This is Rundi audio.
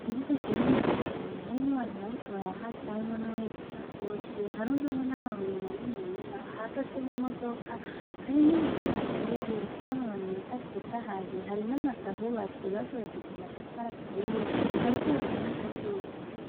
Ikibuga kinini cane harimwo abantu bariko barahaca harimwo nuwahetse isakoshi, harundwemo n’amabuye manini ya hahagaze n’imodoka, hari n’ibiti bihateye bifise amababi meza atotahaye, hari n’amazu ahubatse bakoresheje amatafari aturiye hariko haka n’akazuba.